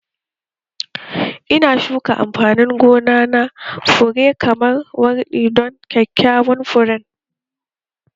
Ina shuka amfanin gona na fure kamar wardi don kyakkyawan furen